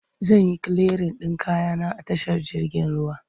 Zan yi kiliyarin ɗin kaya na a tashar jirgin ruwa.